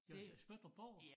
Jamen så Spøttrup Borg